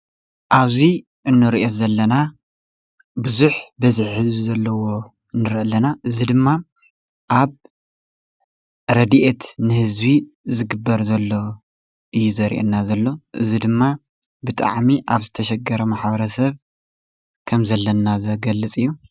ኣብዚ እንርእዮ ዘለና ቡዙሕ በዝሒ ህዝቢ ዘለዎ ንርኢ ኣለና፤ እዚ ድማ ኣብ ረዲኤት ንህዝቢ ዝግበር ዘሎ እዩ ዘርእየና ዘሎ፤ እዚ ድማ ብጣዕሚ ኣብ ዝተሸገረ ማሕበረሰብ ከም ዘለና ዝገልፅ እዩ።